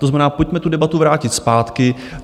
To znamená, pojďme tu debatu vrátit zpátky.